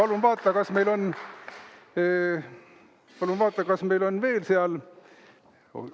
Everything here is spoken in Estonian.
Nii, hea päkapikk, ole hea, palun vaata, kas meil on veel seal midagi.